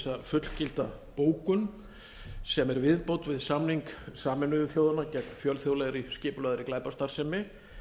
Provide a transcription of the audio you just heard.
fullgilda bókun sem er viðbót við samning sameinuðu þjóðanna gegn fjölþjóðlegri skipulagðri glæpastarfsemi